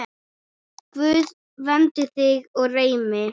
Guð verndi þig og geymi.